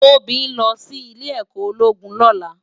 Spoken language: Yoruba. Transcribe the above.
Tobi n lò si Ilè èkò ólógún lòlá